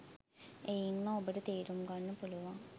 එයින්ම ඔබට තේරුම් ගන්න පුළුවන්